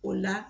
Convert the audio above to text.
O la